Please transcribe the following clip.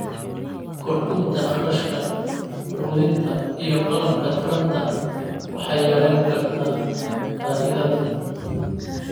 Kordhinta kharashka quudinta iyo qalabka taranta waxay yarayn kartaa faa'iidada.